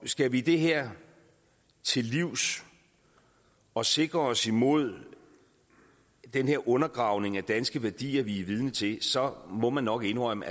skal vi det her til livs og sikre os imod den her undergravning af danske værdier vi er vidne til så må man nok indrømme